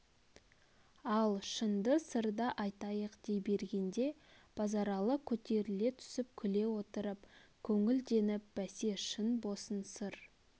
ал шынды сырды айтайық дей бергенде базаралы көтеріле түсіп күле отырып көңілденп бәсе шын босын сыр